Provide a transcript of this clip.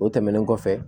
O tɛmɛnen kɔfɛ